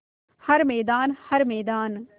हर मैदान हर मैदान